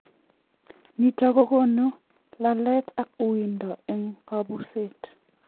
Nitok kokonu lalet ak uwindo eng kabuset.